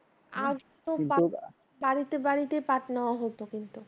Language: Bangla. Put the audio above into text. বাড়িতে বাড়িতে পাট নেওয়া হতো কিন্তু